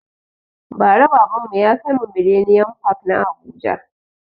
Ba ra baban mu ya kaimu millennium park na habuja